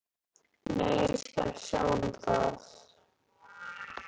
Nei, ég skal sjá um það.